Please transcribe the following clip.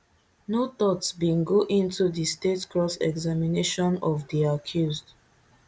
no thought bin go into di state cross examination of di accused